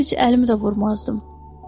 Mən heç əlimi də vurmazdım.